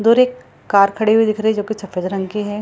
उधर एक कार खड़ी हुई दिख रही है जो की सफ़ेद रंग की है।